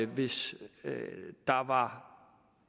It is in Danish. hvis der var